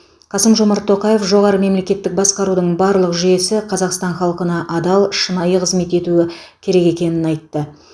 қасым жомарт тоқаев жоғары мемлекеттік басқарудың барлық жүйесі қазақстан халқына адал шынайы қызмет етуі керек екенін айтты